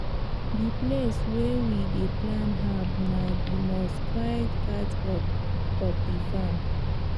the place wey we dey plant herbs na the most quiet part of the farm